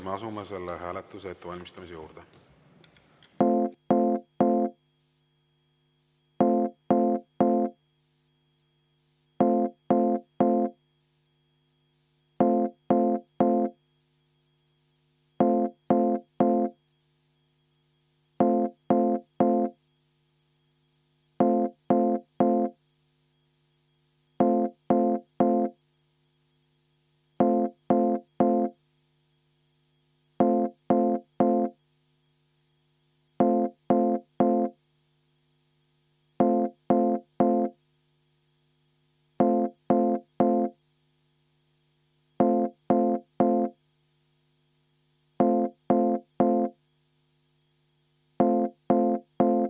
Me asume selle hääletuse ettevalmistamise juurde.